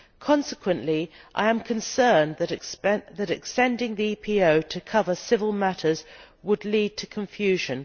Consequently, I am concerned that extending the EPO to cover civil matters would lead to confusion.